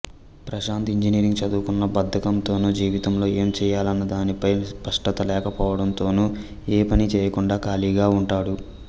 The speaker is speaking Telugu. ప్రశాంత్ ఇంజనీరింగ్ చదువుకున్నా బద్ధకంతోనూ జీవితంలో ఏం చేయాలన్నదానిపై స్పష్టత లేకపోవడంతోనూ ఏ పనీ చేయకుండా ఖాళీగా ఉంటాడు